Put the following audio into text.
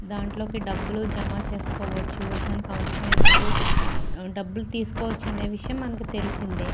దాంట్లో డబ్బులు జమ చేసుకోవచ్చు మనకు అవసరమైనప్పుడు డబ్బులు తీసుకోవచ్చు అన్న విషయం మనకు తెలుస్తుంది.